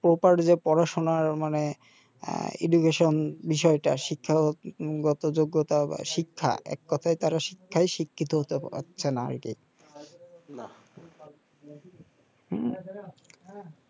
পড়াশোনার মানে বিষয়টা শিক্ষাগত যোগ্যতা শিক্ষা এক কথায় তারা শিক্ষায় শিক্ষিত হতে পারছেনা এটাই না হুম